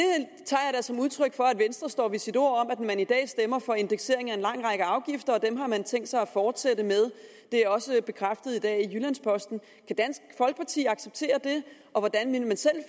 som udtryk for at venstre står ved sit ord om at man i dag stemmer for indeksering af en lang række afgifter og dem har man tænkt sig at fortsætte med det er også bekræftet i dag i jyllands posten kan dansk folkeparti acceptere det og hvordan ville man selv